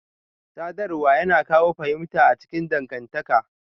Sadarwa yana kawo fahimta a cikin dangantaka.